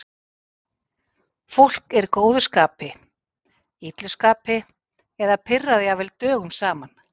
Fólk er í góðu skapi, illu skapi eða pirrað jafnvel dögum saman.